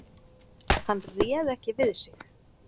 Hann réð ekki við sig.